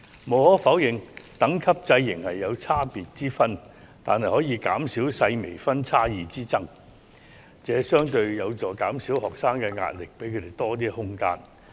無可否認，等級制仍有差別之分，但可減少細微分數差異的紛爭，相對有助減少學生的壓力，給予他們更多空間。